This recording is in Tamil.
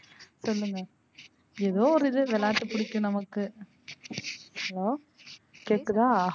சொல்லுங்க. ஏதோ ஒரு இது விளையாட்டு பிடிக்கும் நமக்கு hello கேக்குதா?